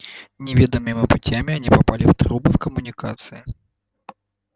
неведомыми путями они попали в трубы в коммуникации